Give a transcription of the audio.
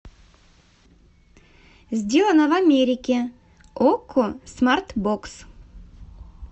сделано в америке окко смарт бокс